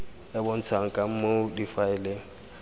e bontshang ka moo difaele